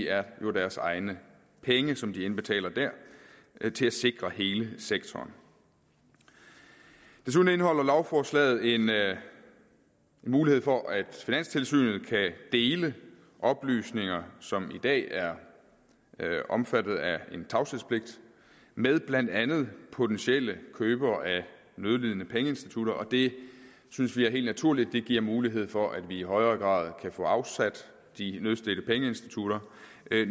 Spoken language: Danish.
er jo deres egne penge som de indbetaler der til at sikre hele sektoren desuden indeholder lovforslaget en mulighed for at finanstilsynet kan dele oplysninger som i dag er omfattet af en tavshedspligt med blandt andet potentielle købere af nødlidende pengeinstitutter og det synes vi er helt naturligt det giver mulighed for at vi i højere grad kan få afsat de nødstedte pengeinstitutter